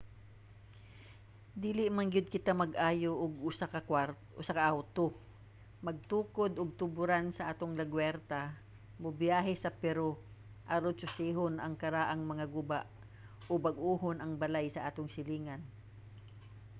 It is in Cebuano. dili man gyud kita mag-ayo og usa ka awto magtukod og tuboran sa atong lagwerta mobiyahe sa peru aron susihon ang karaang mga guba o bag-ohon ang balay sa atong silingan